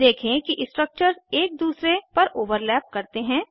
देखें कि स्ट्रक्चर्स एक दूसरे पर ओवरलैप करते हैं